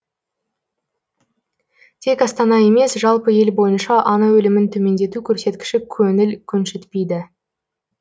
тек астана емес жалпы ел бойынша ана өлімін төмендету көрсеткіші көңіл көншітпейді